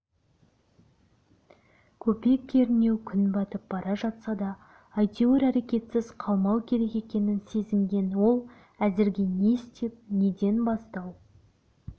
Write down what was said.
көпе-көрнеу күн батып бара жатса да әйтеуір әрекетсіз қалмау керек екенін сезінген ол әзірге не істеп неден бастау